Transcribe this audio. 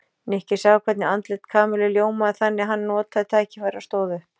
Nikki sá hvernig andlit Kamillu ljómaði þannig að hann notaði tækifærið og stóð upp.